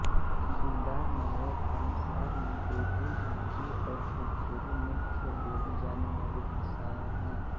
दिलदारनगर कामसार में उर्दू हिंदी और भोजपुरी मुख्य बोली जाने वाली भाषाएँ हैं